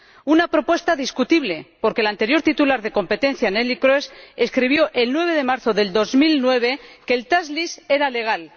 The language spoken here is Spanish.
Una propuesta discutible, porque la anterior titular de competencia, Nelie Kroes, escribió el 9 de marzo del 2009 que el tax lease era legal